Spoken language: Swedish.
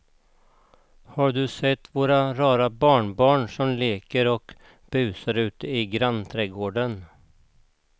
Har du sett våra rara barnbarn som leker och busar ute i grannträdgården!